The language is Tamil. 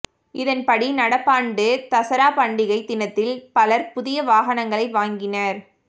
இதன்படி நடப்பாண்டு தசரா பண்டிகை தினத்தில் பலர் புதிய வாகனங்களை வாங்கினர்